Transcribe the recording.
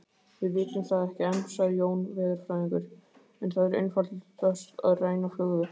Við vitum það ekki enn sagði Jón veðurfræðingur, en það er einfaldast að ræna flugvél